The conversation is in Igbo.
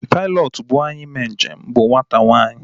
Pailọtụ buu anyị mee njem bụ nwata nwanyi